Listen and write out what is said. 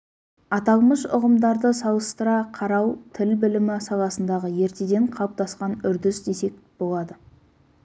аталмыш ұғымдарды салыстыра қарау тіл білімі саласындағы ертеден қалыптасқан үрдіс десек болады